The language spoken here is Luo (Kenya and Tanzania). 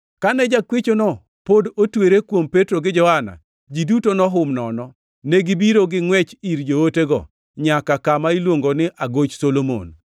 Kane jakwechono pod otwere kuom Petro gi Johana, ji duto nohum nono. Negibiro gingʼwech ir jootego nyaka kama iluongo ni Agoch Solomon.